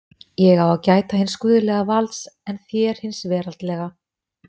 Ég á að gæta hins guðlega valds en þér hins veraldlega!